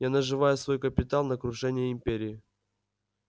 я наживаю свой капитал на крушении империи